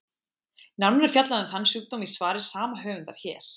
Nánar er fjallað um þann sjúkdóm í svari sama höfundar, hér.